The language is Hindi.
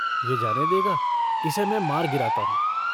यह जाने देगा? इसे मैं मार गिराता हूँ।